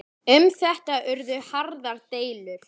Um þetta urðu harðar deilur.